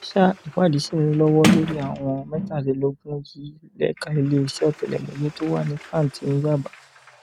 sa ìwádìí sí ń lọwọ lórí àwọn mẹtàdínlógún yìí lẹka iléeṣẹ ọtẹlẹmúyẹ tó wà ní pàǹtí ní yàbá